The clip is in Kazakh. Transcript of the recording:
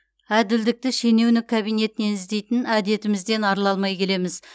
әділдікті шенеунік кабинетінен іздейтін әдетімізден арыла алмай келеміз